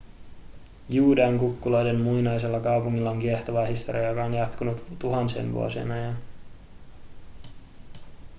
juudean kukkuloiden muinaisella kaupungilla on kiehtova historia joka on jatkunut tuhansien vuosien ajan